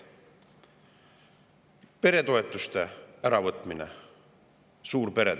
peretoetuste äravõtmine suurperedelt.